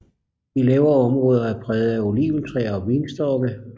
De lavere områder er præget af oliventræer og vinstokke